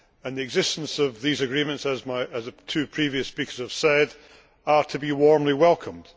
The existence of these agreements, as the two previous speakers have said, is to be warmly welcomed.